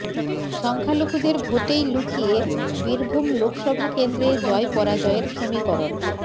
সংখ্যালঘুদের ভোটেই লুকিয়ে বীরভূম লোকসভা কেন্দ্রে জয় পরাজয়ের সমীকরণ